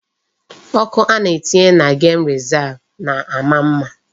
Ọkụ a na-etinye na gem rezav na-ama mma.